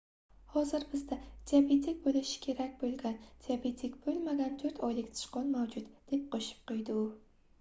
hozir bizda diabetik boʻlishi kerak boʻlgan diabetik boʻlmagan 4 oylik sichqon mavjud deb qoʻshib qoʻydi u